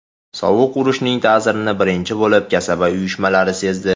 Sovuq urushning ta’sirini birinchi bo‘lib kasaba uyushmalari sezdi.